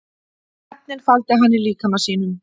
Efnin faldi hann í líkama sínum